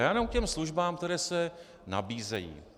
Já jenom k těm službám, které se nabízejí.